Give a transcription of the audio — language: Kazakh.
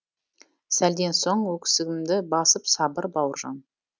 сәлден соң өксігімді басып сабыр бауыржан